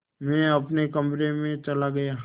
मैं अपने कमरे में चला गया